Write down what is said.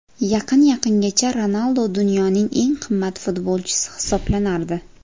Yaqin-yaqingacha Ronaldo dunyoning eng qimmat futbolchisi hisoblanardi.